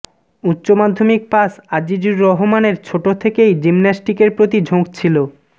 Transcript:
উচ্চমাধ্যমিক পাশ আজিজুর রহমানের ছোট থেকেই জিমন্যাস্টিকের প্রতি ঝোঁক ছিল